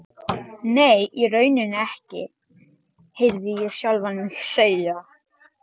Nei, í rauninni ekki, heyrði ég sjálfan mig segja.